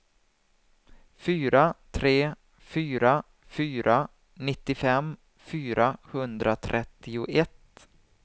fyra tre fyra fyra nittiofem fyrahundratrettioett